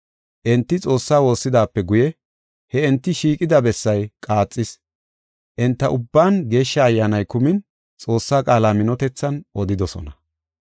Enti Xoossa woossidaape guye, he enti shiiqida bessay qaaxis. Enta ubban Geeshsha Ayyaani kumin Xoossaa qaala minotethan odidosona.